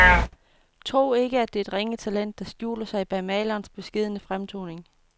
Tro ikke, at det er et ringe talent, der skjuler sig bag malerens beskedne fremtoning.